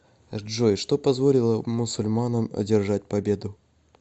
джой что позволило мусульманам одержать победу